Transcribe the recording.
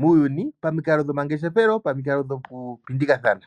muuyuni pamikalo dhomangeshefelo, pamikalo dhokupindikathana.